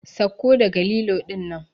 Sauko daga lilo dinnan!